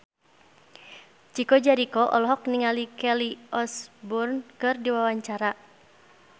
Chico Jericho olohok ningali Kelly Osbourne keur diwawancara